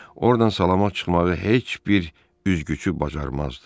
Ordan salamat çıxmağı heç bir üzgüçü bacarmazdı.